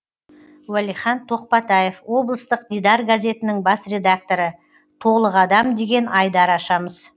уәлихан тоқпатаев облыстық дидар газетінің бас редакторы толық адам деген айдар ашамыз